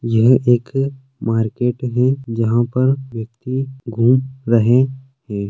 यह एक मार्केट है जहाँ पर व्यक्ति घूम रहे है।